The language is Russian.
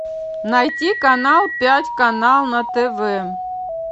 найти канал пять канал на тв